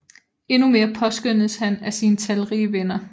Endnu mere påskønnedes han af sine talrige venner